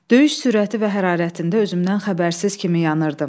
Döyüş sürəti və hərarətində özümdən xəbərsiz kimi yanıırdım.